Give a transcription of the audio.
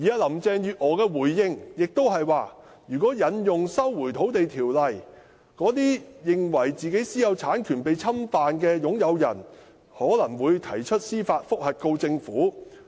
林鄭月娥的回應是，如果引用《收回土地條例》，那些認為自己私有產權被侵犯的擁有人可能會提出司法覆核，控告政府。